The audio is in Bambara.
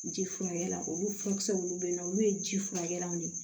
Ji furakɛli olu furakisɛ minnu bɛ yen nɔ olu ye ji furakɛlaw de ye